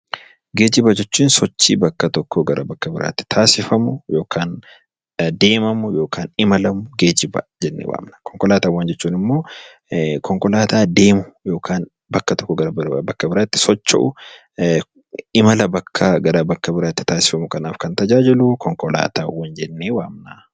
Geejjiba jechuun sochii bakka tokkoo gara bakka biraatti taasifamu yookaan deemamu yookaan imalamu 'Geejjiba' jennee waamna. Konkolaataawwan jechuun immoo konkolaataa deemu yookaan bakka tokkoo gara bakka biraatti socho'u imala gara bakka biraatti taasifamu kanaaf kan tajaajilu 'Konkolaataawwan' jennee waamna.